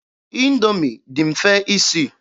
Indoomi dị mfe isi.